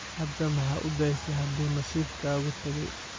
Hada maxa uudasey hadu nasibkaagu tagey.